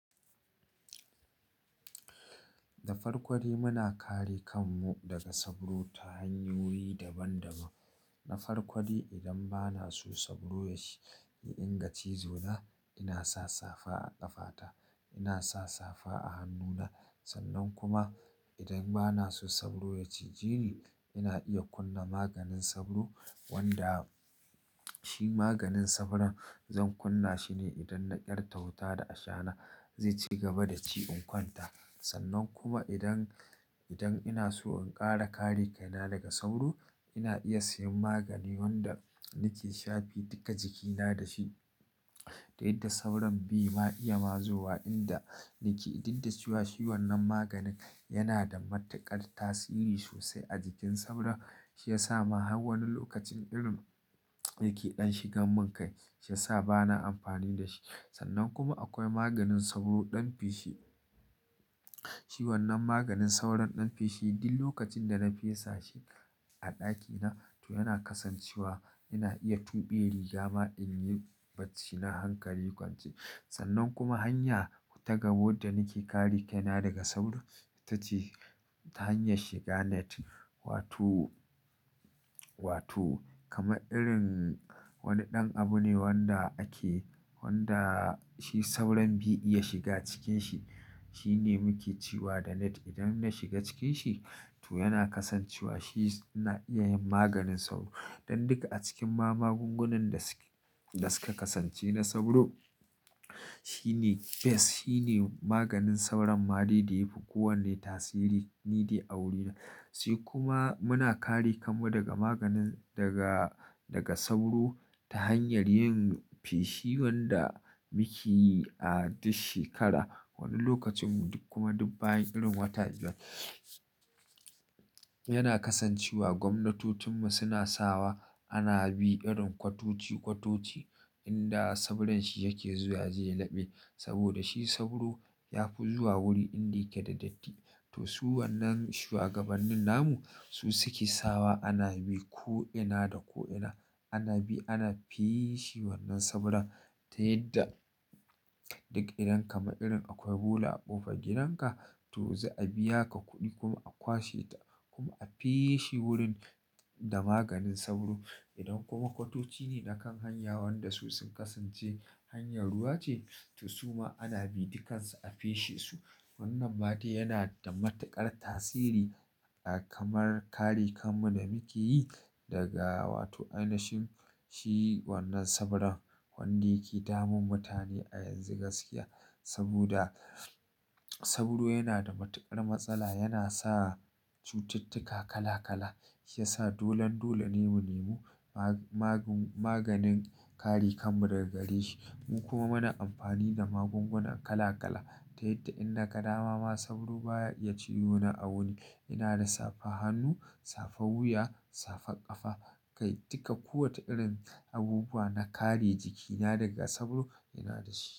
Da farko dai, muna kare kanmu daga sauro ta hanyoyi daban-daban. Na farko dai, idan bana so sauro ya iya dinga cizo na, ina sa safa a ƙafa ta, ina sa safa a hannu na. Sannan kuma idan bana so sauro ya ciji ni, ina iya kunna maganin sauro wanda shi maganin sauron zan kunna shi ne idan na ƙyarta wuta da ashana zai ci gaba da ci in kwanta. Sannan kuma idan ina so in ƙara kare kaina daga sauro, ina iya siyan magani wanda nake shafi duka jikina da shi. Da yadda sauron bi ma iya mazuwa inda nake, dik da ciwa shi wannan maganin yana da matuƙar tasiri sosai a jikin sauro. Shi yasa ma har wani lokacin irin yake ɗan shigan mun kai, shi yasa bana amfani da shi. Sannan kuma akwai maganin sauro ɗan fishi. Shi wannan maganin sauron ɗan fishi duk lokacin da na fesa shi a ɗakina to yana kasancewa ina iya tuɓe rigama inyi bacci na hankali kwance. Sannan kuma hanya ta gaba wadda nake kare kaina daga sauro ita ce ta hanyar shiga net. Wato kamar irin wani ɗan abu ne wanda ake, wanda shi sauron bai'iya shiga cikin shi. Shine muke cewa da net. Idan na shiga cikin shi to yana kasancewa shi na iya yin maganin sauro. Dan duka a cikin ma magungunan da suka kasance na sauro, shi ne best, shi ne maganin sauron ma de da yafi kowanne tasiri nidai a wuri na. Sai kuma muna kare kanmu daga maganin daga sauro ta hanyar yin fishi wanda muke yi a duk shekara wani lokacin kuma duk bayan irin wata biyar. Yana kasancewa gwamnatocinmu suna sawa ana bi irin kwatoci-kwatoci inda sauron shi yake zuwa yaje ya laɓe. Saboda shi sauro ya fi zuwa wuri inda yake da datti. To su wannan shuwagabannin namu su suke sawa ana bi ko ina da ko ina. Ana bi ana fishe wannan sauron ta yadda duk idan kamar irin akwai bula a ƙofar gidanka to za'a biya ka kuɗi kuma a kwashe ta kuma a fishe wurin da maganin sauro. Idan kuma kwatoci ne na kan hanya wanda su sun kasance hanyar ruwa ce to su ma ana bi duk kansu a fishe su. Wannan ma dai yana da matuƙar tasiri a kamar kare kanmu da muke yi daga wato ainihin shi wannan sauron wanda yake damun mutane a yanzu gaskiya. Saboda sauro yana da matuƙar matsala, yana sa cututtuka kala-kala. Shi ya sa dolan dole ne mu nemi maganin kare kanmu daga gareshi. Mu kuma muna amfani da magunguna kala-kala ta yadda in naga dama ma sauro baya iya cizo na a wuni ina da safa hannu, safa wuya, safa ƙafa. Kai duka kowace irin abubuwa na kare jikina daga sauro ina da shi.